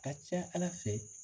Ka ca Ala fɛ